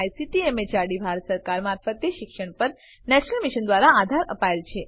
જેને ICT MHRD Bharat સરકાર મારફતે શિક્ષણ પર નેશનલ મિશન દ્વારા આધાર અપાયેલ છે